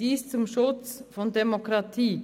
Dies dient dem Schutz der Demokratie.